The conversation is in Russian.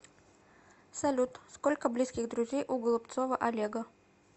салют сколько близких друзей у голубцова олега